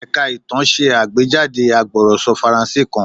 Ẹ̀ka ìtàn ṣe àgbéjáde agbọ̀rọ̀sọ Faransé kan.